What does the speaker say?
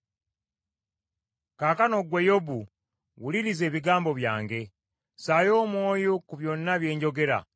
“Kaakano ggwe Yobu, wuliriza ebigambo byange: ssaayo omwoyo ku byonna bye njogera.